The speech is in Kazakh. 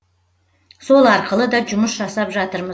сол арқылы да жұмыс жасап жатырмыз